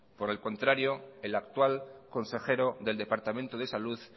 por el contrario el actual consejero del departamento de salud